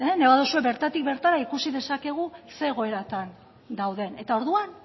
nahi baduzue bertatik bertara ikusi dezakegu ze egoeratan dauden eta orduan